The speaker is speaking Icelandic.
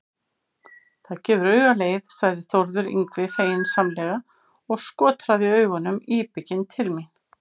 Það gefur auga leið, sagði Þórður Yngvi feginsamlega og skotraði augunum íbygginn til mín.